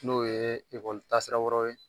N'o ye ekɔli ta sira wɛrɛw ye.